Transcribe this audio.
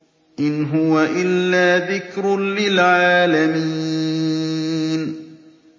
إِنْ هُوَ إِلَّا ذِكْرٌ لِّلْعَالَمِينَ